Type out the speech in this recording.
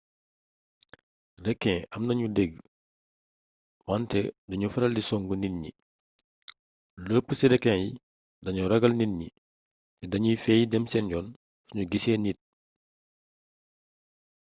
rekin am nañu dëgg wante du ñu faral di songu nit ñi lu ëpp ci rekin yi dañoo ragal nit ñi te danuy feey dem seen yoon suñu gisee nit